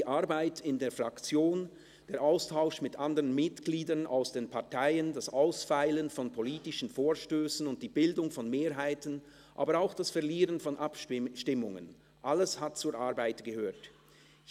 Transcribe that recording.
«Die Arbeit in der Fraktion, der Austausch mit anderen Mitgliedern aus den Parteien, das Ausfeilen von politischen Vorstössen und die Bildung von Mehrheiten, aber auch das Verlieren von Abstimmungen, alles hat zur Arbeit gehört […]», «[Und]